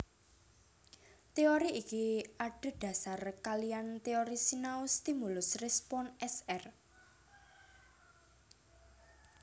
Teori iki adhédhasar kaliyan teori sinau stimulus respons S R